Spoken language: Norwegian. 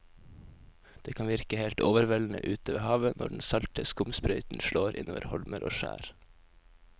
Det kan virke helt overveldende ute ved havet når den salte skumsprøyten slår innover holmer og skjær.